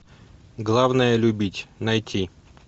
главное любить найти